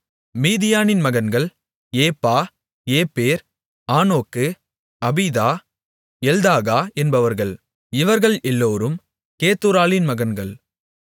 மீதியானின் மகன்கள் ஏப்பா ஏப்பேர் ஆனோக்கு அபீதா எல்தாகா என்பவர்கள் இவர்கள் எல்லோரும் கேத்தூராளின் மகன்கள்